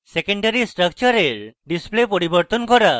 secondary স্ট্রাকচারের display পরিবর্তন করা